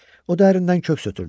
O dərindən köks ötürdü.